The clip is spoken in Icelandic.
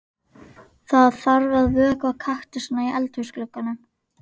Það þarf að vökva kaktusana í eldhúsglugganum.